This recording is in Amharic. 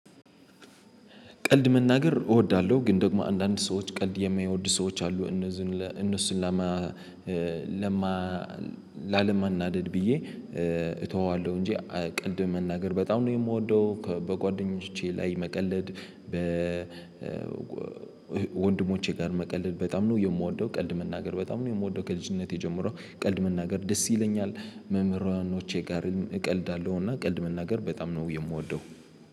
ቀልድ መናገር እወዳለሁ ግን ደግሞ አንዳንድ ሰዎች ቀልድ የማይወዱ ሰዎች አሉ። እነሱን ለማ ለማ ላለመናደድ ብዬ እተወዋለሁ እንጂ ቀልድ መናገር በጣም ነው የምወደው። በጓደኞቼ ላይ መቀለድ በ ወንድሞቼ ጋር መቀለድ በጣም ነው የምወደው። ቀልድ መናገር በጣም ነው የምወደው። ከልጅነቴ ጀምሮ ቀልድ መናገር ደስ ይለኛል። መምህራውያኖቼ ጋር እቀልዳለሁና ቀልድ መናገር በጣም ነው የምወደው